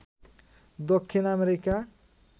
Dakshin America